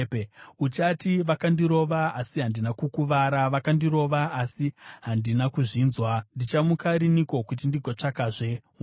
Uchati, “Vakandirova, asi handina kukuvara! Vakandirova asi handina kuzvinzwa! Ndichamuka rinhiko kuti ndigotsvakazve waini?”